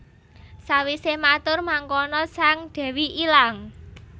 Sawise matur mangkono sang dewi ilang